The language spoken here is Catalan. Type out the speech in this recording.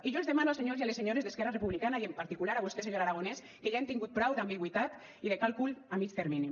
i jo els demano als senyors i a les senyores d’esquerra republicana i en particular a vostè senyor aragonès que ja hem tingut prou d’ambigüitat i de càlcul a mig termini